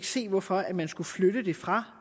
se hvorfor man skulle flytte det fra